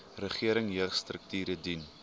regering jeugstrukture dien